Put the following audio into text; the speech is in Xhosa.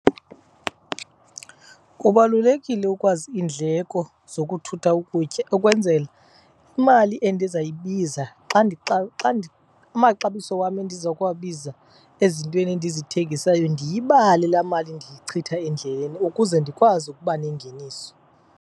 Kubalulekile ukwazi iindleko zokuthutha ukutya ukwenzela imali endizayibiza xa , amaxabiso wam endiza kuwabiza ezintweni endizithengisayo ndiyibale laa mali ndiyichitha endleleni ukuze ndikwazi ukuba nengeniso.